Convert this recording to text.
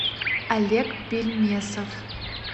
олег бельмесов